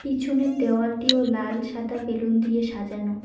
পিছনের দেওয়ালটিও লাল সাদা বেলুন দিয়ে সাজানো।